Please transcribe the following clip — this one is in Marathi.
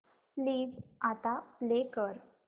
प्लीज आता प्ले कर